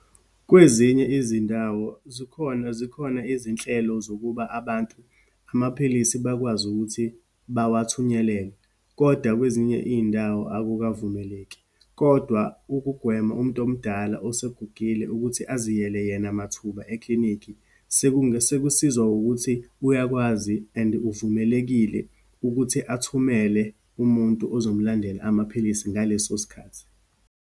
Kwezinye izindawo, zikhona, zikhona izinhlelo zokuba abantu amaphilisi bakwazi ukuthi bawathunyelelwe, kodwa kwezinye iyindawo akuvumeleki. Kodwa, ukugwema umuntu omdala osegugile ukuthi aziyele yena mathuba ekilinikhi, sekusizwa ukuthi uyakwazi and uvumelekile ukuthi athumele umuntu ozomlandela amaphilisi, ngaleso sikhathi.